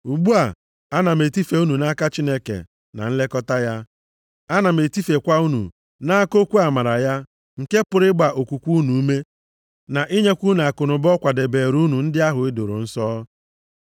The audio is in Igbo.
“Ugbu a ana m etife unu nʼaka Chineke na nlekọta ya. Ana m etifekwa unu nʼaka okwu amara ya nke pụrụ ịgba okwukwe unu ume na inyekwa unu akụnụba ọ kwadobeere ndị ahụ e doro nsọ.